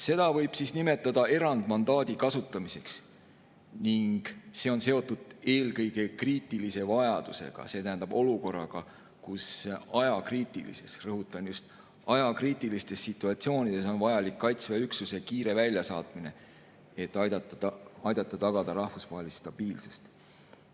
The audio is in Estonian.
Seda võib nimetada erandmandaadi kasutamiseks ning see on seotud eelkõige kriitilise vajadusega, see tähendab olukorraga, kus ajakriitilistes – rõhutan: just ajakriitilistes – situatsioonides on vajalik Kaitseväe üksuse kiire väljasaatmine, et aidata tagada rahvusvahelist stabiilsust.